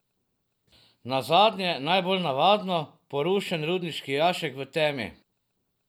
Nazadnje najbolj navadno, porušen rudniški jašek v temi.